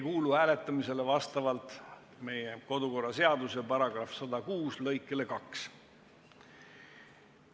Hääletamisele see ei kuulu vastavalt Riigikogu kodu- ja töökorra seaduse § 106 lõikele 2.